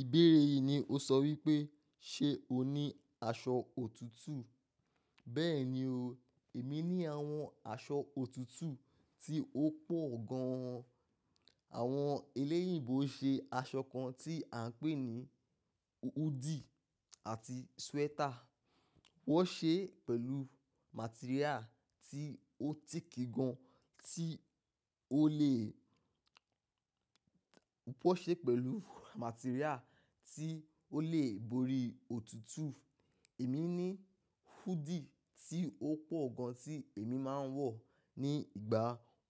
Ìbéèrè yìí ni o sọ wípé, ṣe o ní aṣọ òtútù? Bẹ́ẹ̀ni o, èmi ní àwọn aṣọ òtútù tí ó pọ̀ gan. Àwọn eléyìnbo ṣe aṣọ kan tí à ń pè ní hu, hoodie àti sweater. Wọ́n ṣe pẹ̀lú material tí ó tìkì gan tí ó lè, wọ́n ṣe pẹ̀lú material tí ó lè borí òtútù. Èmi ní hoodie tí ó pọ̀ gan tí èmi máa ń wọ̀ ní ìgbà